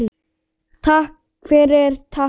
Takk fyrir, takk fyrir allt.